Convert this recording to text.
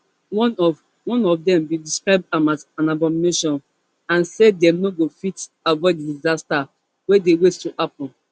one of one of dem bin describe am as an abomination and say dem no go fit avoid di disaster wey dey wait to happun